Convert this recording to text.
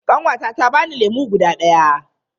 Ƙanwata ta bani lemu guda daya.